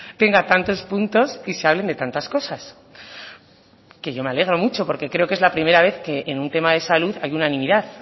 tenga tantos puntos y se hablen de tantas cosas que yo me alegro mucho porque creo que es la primera vez que en un tema de salud hay unanimidad